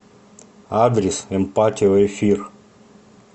адрес эмпатио эфир